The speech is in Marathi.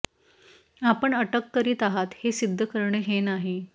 आपण अटक करीत आहात हे सिद्ध करणे हे नाही